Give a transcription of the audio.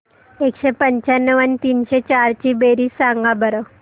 एकशे पंच्याण्णव आणि तीनशे चार ची बेरीज सांगा बरं